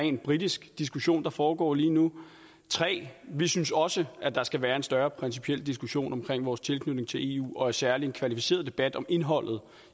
rent britisk diskussion der foregår lige nu 3 vi synes også at der skal være en større principiel diskussion omkring vores tilknytning til eu og særlig en kvalificeret debat om indholdet